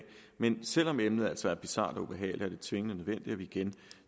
men selv om emnet altså er bizart og ubehageligt er det tvingende nødvendigt at vi igen